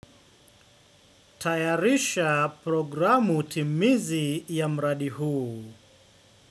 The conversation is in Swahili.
Tayarisha programu timizi ya mradi huu.